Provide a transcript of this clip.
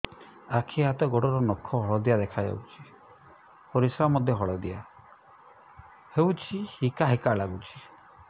ଆଖି ହାତ ଗୋଡ଼ର ନଖ ହଳଦିଆ ଦେଖା ଯାଉଛି ପରିସ୍ରା ମଧ୍ୟ ହଳଦିଆ ହଉଛି ହିକା ହିକା ଲାଗୁଛି